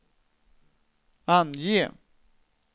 ange